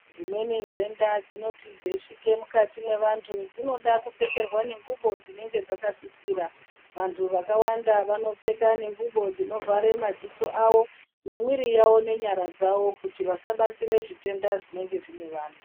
Dzimweni nhenda dzinoti dzeisvike mukati mwevantu dzinode kupfekerwa nengubo dzinenge dzakasisira, vantu vakawanda vanopfeka ngubo dzinovhare madziso ao nemwiri dzawo nenyara dzawo kuti vasabatire zvitenda zvinenge zvine vantu.